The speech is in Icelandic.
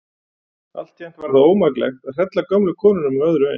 Altént var það ómaklegt að hrella gömlu konuna með öðru eins.